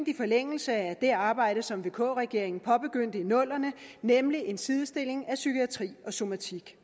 i forlængelse af det arbejde som vk regeringen påbegyndte i nullerne nemlig en sidestilling af psykiatri og somatik